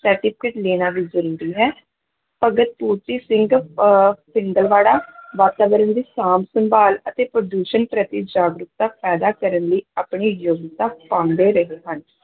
certificate ਲੈਣਾ ਵੀ ਜ਼ਰੂਰੀ ਹੈ, ਭਗਤ ਪੂਰਤੀ ਸਿੰਘ ਅਹ ਪਿੰਗਲਵਾੜਾ ਵਾਤਾਵਰਨ ਦੀ ਸਾਂਭ-ਸੰਭਾਲ ਅਤੇ ਪ੍ਰਦੂਸ਼ਣ ਪ੍ਰਤੀ ਜਾਗਰੂਕਤਾ ਪੈਦਾ ਕਰਨ ਲਈ ਆਪਣੀ ਯੋਗਤਾ ਪਾਉਂਦੇ ਰਹੇ ਹਨ।